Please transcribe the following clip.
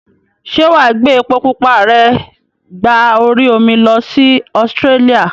Ṣé wàá gbé epo pupa rẹ gba orí omi lọ sí Australia?